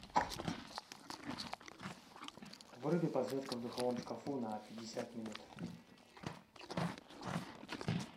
выруби подсветка в духовом шкафу на пятьдесят минут